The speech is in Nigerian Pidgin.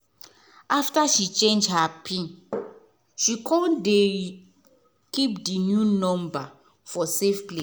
after she change her pin she come dey keep the new number for safe place.